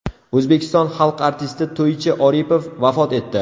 O‘zbekiston xalq artisti To‘ychi Oripov vafot etdi.